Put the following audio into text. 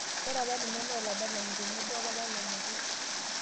Ore apa ninye naa oladalanin tenebo opapa lonyori